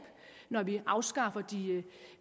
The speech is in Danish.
når vi afskaffer